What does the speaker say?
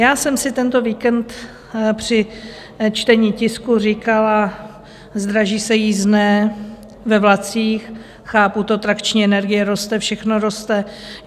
Já jsem si tento víkend při čtení tisku říkala - zdraží se jízdné ve vlacích, chápu to, trakční energie roste, všechno roste.